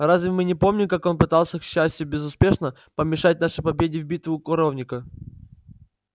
разве мы не помним как он пытался к счастью безуспешно помешать нашей победе в битве у коровника